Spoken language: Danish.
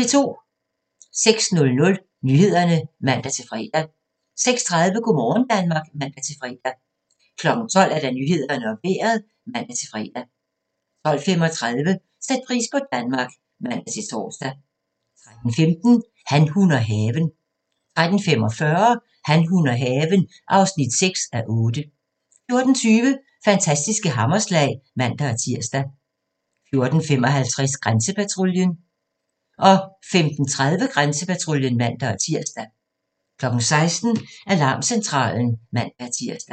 06:00: Nyhederne (man-fre) 06:30: Go' morgen Danmark (man-fre) 12:00: Nyhederne og Vejret (man-fre) 12:35: Sæt pris på Danmark (man-tor) 13:15: Han, hun og haven 13:45: Han, hun og haven (6:8) 14:20: Fantastiske hammerslag (man-tir) 14:55: Grænsepatruljen 15:30: Grænsepatruljen (man-tir) 16:00: Alarmcentralen (man-tir)